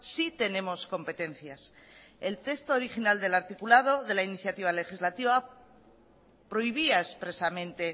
sí tenemos competencias el texto original del articulado de la iniciativa legislativa prohibía expresamente